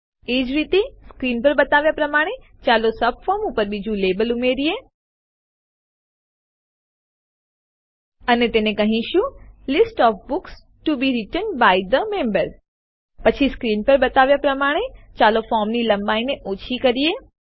એજ રીતે સ્ક્રીન પર બતાવ્યાં પ્રમાણે ચાલો સબફોર્મ ઉપર બીજું લેબલ ઉમેરીએ અને તેને કહેશું list of books to be returned by the member પછી સ્ક્રીન પર બતાવ્યાં પ્રમાણે ચાલો ફોર્મની લંબાઈને ઓછી કરીએ